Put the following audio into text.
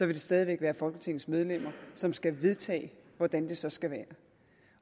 det stadig væk være folketingets medlemmer som skal vedtage hvordan det så skal være